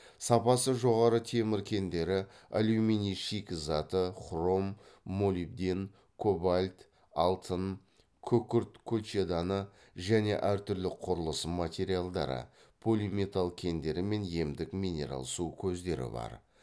сапасы жоғары темір кендері алюминий шикізаты хром молибден кобальт алтын күкірт колчеданы және әртүрлі құрылыс материалдары полиметалл кендері мен емдік минерал су көздері бар